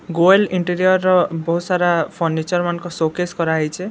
Goyal interior ର ବହୁତ୍‌ ସାରା ଫର୍ନିଚର ମାନଙ୍କର ଶୋକେସ କରାହେଇଛେ।